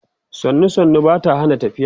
sannu sannu Bata Hana tafiya